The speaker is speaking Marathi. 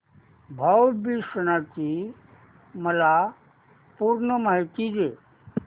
भाऊ बीज सणाची मला पूर्ण माहिती दे